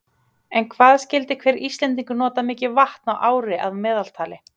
En hvað skyldi hver Íslendingur nota mikið vatn á ári að meðaltali?